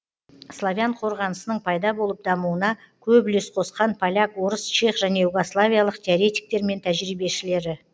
славян қорғанысының пайда болып дамуына көп үлес қосқан поляк орыс чех және югославиялық теоретиктер мен тәжірибешілері